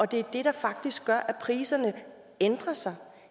det er det der faktisk gør at priserne ændrer sig